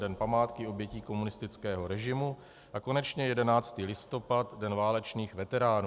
Den památky obětí komunistického režimu, a konečně 11. listopad - Den válečných veteránů.